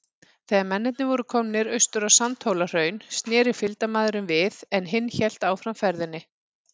Þegar mennirnir voru komnir austur á Sandhólahraun, sneri fylgdarmaðurinn við, en hinn hélt áfram ferðinni.